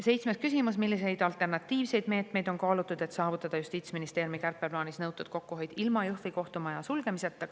Seitsmes küsimus: "Milliseid alternatiivseid meetmeid on kaalutud, et saavutada Justiitsministeeriumi kärpeplaanis nõutud kokkuhoid ilma Jõhvi kohtumaja sulgemiseta?